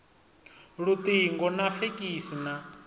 luṱingo na ya fekisi na